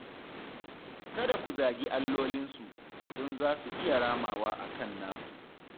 Kada ku zagi allolinsu, don za su iya ramawa a kan naku